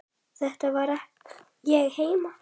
Þar var ég heima.